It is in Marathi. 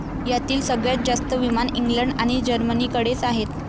यातील सगळ्यात जास्त विमान इंग्लंड आणि जर्मनीकडेच आहेत.